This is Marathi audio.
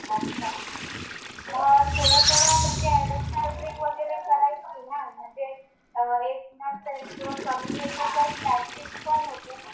अच्छा. मग थोडं थोडं म्हणजे करायची ना. म्हणजे येत नसेल किंवा कमी येते तर प्रॅक्टिस पण होते ना.